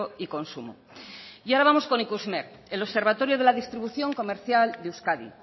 y consumo y ahora vamos con ikusmer el observatorio de la distribución comercial de euskadi